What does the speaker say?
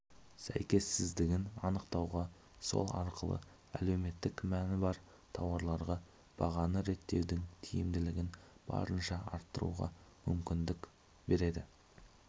сәйкессіздігін анықтауға сол арқылы әлеуметтік мәні бар тауарларға бағаны реттеудің тиімділігін барынша арттыруға мүмкіндік береді